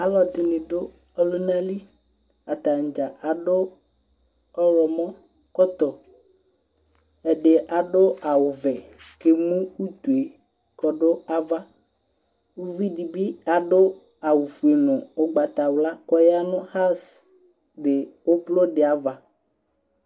Alʋɛdɩnɩ dʋ ɔlʋna li: atanɩ dza akɔ ɔɣlɔmɔkɔtɔ ; ɛdɩ adʋ awʋvɛ, k'emu utue k'ɔdʋ ava Uvidɩ bɩ adʋ awʋfue nʋ ʋgbatawla k'ɔya nʋ aŋsɩ dɩ ʋblʋdɩ ava